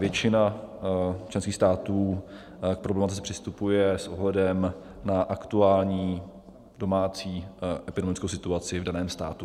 Většina členských států k problematice přistupuje s ohledem na aktuální domácí epidemiologickou situaci v daném státu.